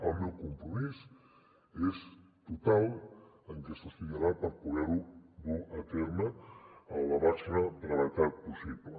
el meu compromís és total que s’estudiarà per poder ho dur a terme amb la màxima brevetat possible